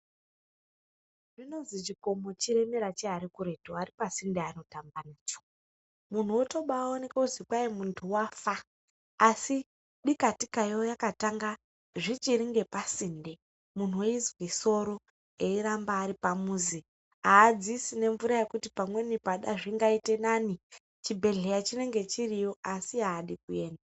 Zvinozwi chikomo chiremera cheari kuretu ari pasinde anotamba nacho, munhu wotobaaoneka kuzi kwayi munthu wafa, asi dika tikayo yakatanga zvichiri ngepasinde ,munhu eizwe soro, eiramba ari pamuzi, aadziisi nemvura yekuti pamweni pada zvingaita nani, chibhedhlera chinongane chiriyo asi aadi kuenda.